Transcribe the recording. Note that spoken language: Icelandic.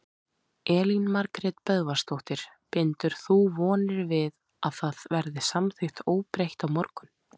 Elín Margrét Böðvarsdóttir: Bindur þú vonir við að það verði samþykkt óbreytt á morgun?